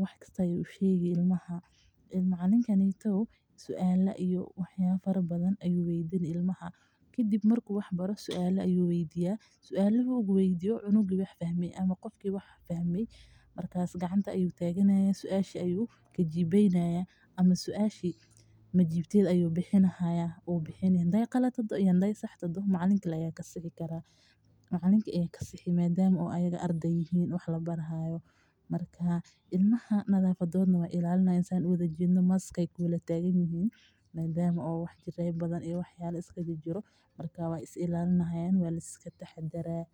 wax kasta ayuu usheegi ilmaha suaala ayuu weydini ilmaha qof ki rabo inuu jawaabo gacanta ayuu tagani kadib macalinka ayaa kajawabi ilmaha nadafadooda ayeey ilalini hayaan madama uu cudur jiro waa lataxadaraa.